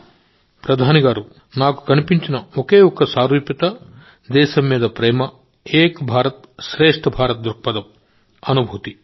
మోదీ గారూనాకు కనిపించిన ఒకే ఒక్క సారూప్యత దేశంపై ప్రేమ ఏక్ భారత్ శ్రేష్ఠ భారత్ దృక్పథం అనుభూతి